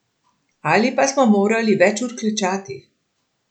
Ali pa smo morali več ur klečati.